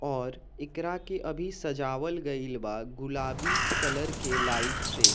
और एकरा के अभी सजावल गईल बा गुलाबी कलर के लाइट से।